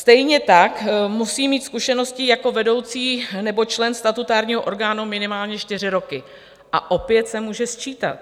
Stejně tak musí mít zkušenosti jako vedoucí nebo člen statutárního orgánu minimálně čtyři roky, a opět se může sčítat.